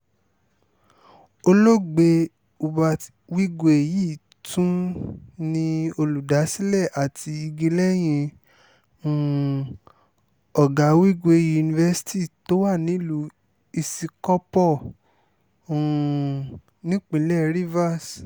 olóògbé hubert wigwe yìí tún ni olùdásílẹ̀ àti igi lẹ́yìn um ọ̀gá wigwe university tó wà nílùú isíkò̩pó̩ um nípínlẹ̀ rivers